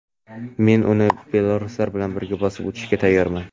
men uni belaruslar bilan birga bosib o‘tishga tayyorman.